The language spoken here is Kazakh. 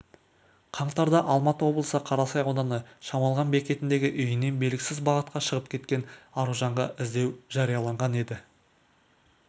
қаңтарда алматы облысы қарасай ауданы шамалған бекетіндегі үйінен белгісіз бағытқа шығып кеткен аружанға іздеу жарияланған еді